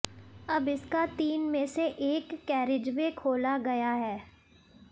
अब इसका तीन में से एक कैरिजवे खोला गया है